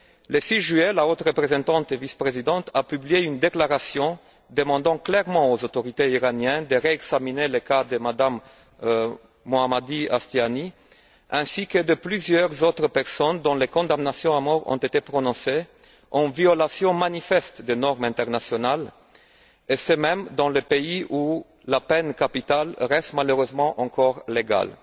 Le 6 juillet, la haute représentante vice présidente a publié une déclaration demandant clairement aux autorités iraniennes de réexaminer le cas de Mme Mohammadi Ashtiani ainsi que de plusieurs autres personnes, dont les condamnations à mort ont été prononcées en violation manifeste des normes internationales, et ce dans un pays où la peine capitale reste malheureusement encore légale.